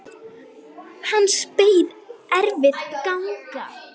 Hans beið erfið ganga.